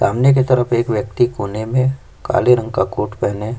सामने के तरफ एक व्यक्ति कोने में काले रंग का कोट पहने--